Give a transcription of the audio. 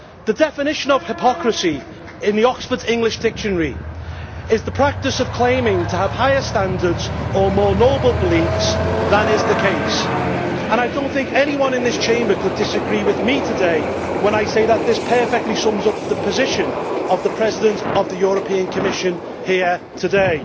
The definition of hypocrisy in the is the practice of claiming to have higher standards or more noble beliefs than is the case, and I do not think anyone in this Chamber could disagree with me today when I say that this perfectly sums up the position of the President of the European Commission here today.